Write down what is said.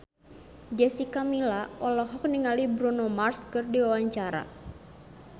Jessica Milla olohok ningali Bruno Mars keur diwawancara